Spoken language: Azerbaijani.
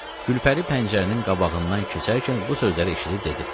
Gülpəri pəncərənin qabağından keçərkən bu sözləri eşidib dedi: